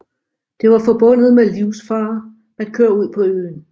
Det var forbundet med livsfare at køre ud på øen